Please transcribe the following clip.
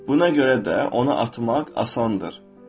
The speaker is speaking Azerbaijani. Buna görə də onu atmaq asandır.